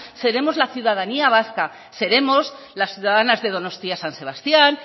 seremos la ciudadanía vasca seremos las ciudadanas de donostia san sebastián